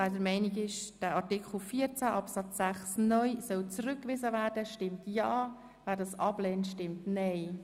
Wer der Meinung ist, Artikel 14 Absatz 6(neu) solle zurückgewiesen werden, stimmt ja, wer das ablehnt, stimmt nein.